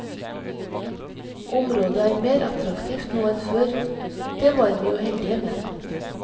Området er mer attraktivt nå enn før, det var vi jo heldige med.